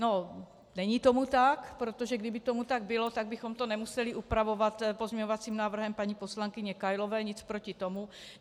No, není tomu tak, protože kdyby tomu tak bylo, tak bychom to nemuseli upravovat pozměňovacím návrhem paní poslankyně Kailové, nic proti tomu.